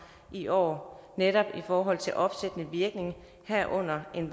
i år netop i forhold til opsættende virkning herunder en